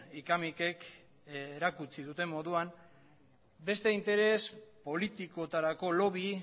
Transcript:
hika mikek erakutsi duten moduan beste interes politikotarako lobby